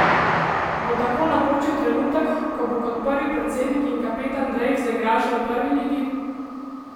Bo tako napočil trenutek, ko bo kot predsednik in kapetan Drave zaigral še v prvi ligi?